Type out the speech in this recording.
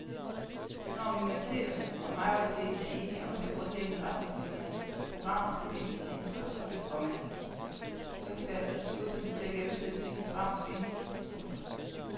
Når minoriteterne og majoriteten er enige om de grundlæggende retningslinier og programmer til gensidig integration, komma så skal ressourcerne til at gennemføre disse programmer findes. punktum